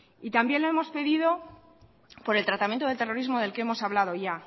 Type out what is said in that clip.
y también le hemos pedido por el tratamiento del terrorismo del que hemos hablado ya